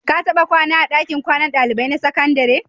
Ka taɓa kwana a ɗakin kwanan ɗalibai na sakandare?